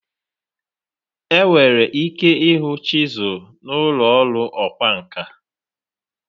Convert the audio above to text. Enwere ike ịhụ chisel n'ụlọ ọrụ ọkwá nkà.